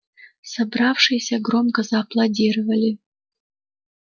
собравшиеся громко зааплодировали